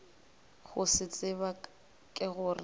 go se tseba ke gore